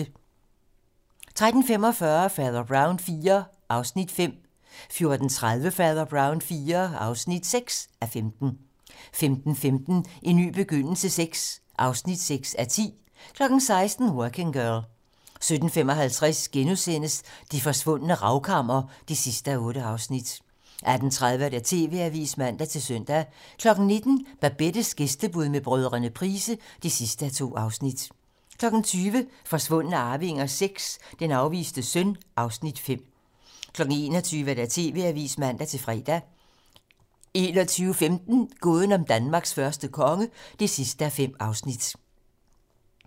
13:45: Fader Brown IV (5:15) 14:30: Fader Brown IV (6:15) 15:15: En ny begyndelse VI (6:10) 16:00: Working Girl 17:55: Det forsvundne ravkammer (8:8)* 18:30: TV-Avisen (man-søn) 19:00: Babettes gæstebud med brødrene Price (2:2) 20:00: Forsvundne arvinger VI: Den afviste søn (Afs. 5) 21:00: TV-Avisen (man-fre) 21:15: Gåden om Danmarks første konge (5:5)